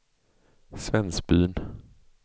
Svensbyn